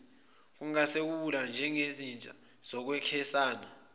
kungasungulwa nezizinda zokwesikhashana